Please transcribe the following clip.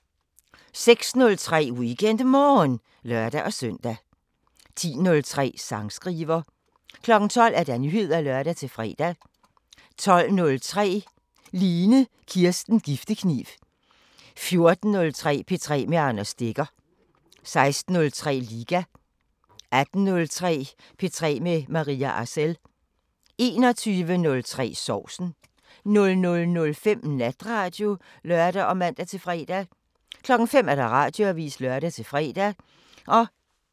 06:03: WeekendMorgen (lør-søn) 10:03: Sangskriver 12:00: Nyheder (lør-fre) 12:03: Line Kirsten Giftekniv 14:03: P3 med Anders Stegger 16:03: Liga 18:03: P3 med Maria Arcel 21:03: Sovsen 00:05: Natradio (lør og man-fre) 05:00: Radioavisen (lør-fre)